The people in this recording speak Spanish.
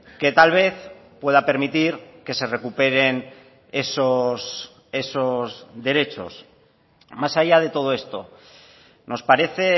que tal vez pueda permitir que se recuperen esos derechos más allá de todo esto nos parece